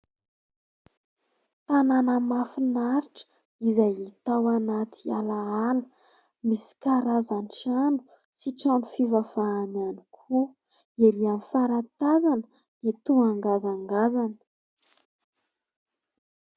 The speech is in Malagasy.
Tanàna mahafinaritra izay hita ao anaty alaala. Misy karazan-trano sy trano fivavahana ihany koa. Ery amin'ny farany tazana dia toa ngazangazana.